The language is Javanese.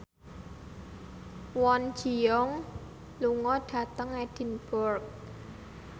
Kwon Ji Yong lunga dhateng Edinburgh